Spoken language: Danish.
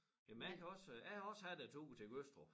Jamen jeg kan også øh jeg har også haft æ tur til Gødstrup